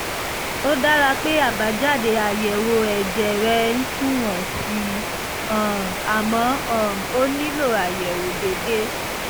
ó dára pé àbájáde àyẹ̀wò ẹ̀jẹ̀ rẹ ń sunwọ̀n sí i um àmọ́ um o nílò àyẹ̀wò déédé